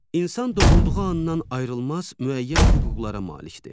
İnsan doğulduğu andan ayrılmaz müəyyən hüquqlara malikdir.